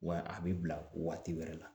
Wa a bɛ bila waati wɛrɛ la